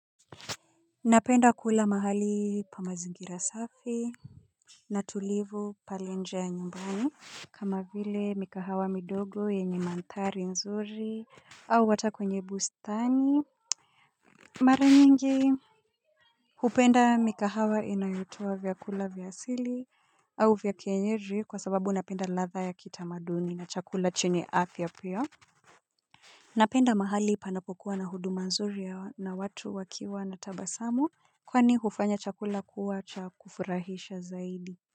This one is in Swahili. Napenda kula mahali penye mazingira safi. Natulivu pale nje ya nyumbani, kama vile mikahawa midogo yenye mandhari nzuri au hata kwenye bustani. Mara nyingi hupenda mikahawa inayotoa vyakula vya asili au vya kienyeji kwa sababu napenda ladha ya kitamaduni na chakula chenye afya pia. Napenda mahali panapokuwa na huduma nzuri na watu wakiwa na tabasamu, kwani hufanya chakula kuwa cha kufurahisha zaidi.